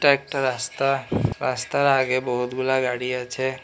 একটা রাস্তা রাস্তার আগে বহুতগুলা গাড়ি আছে।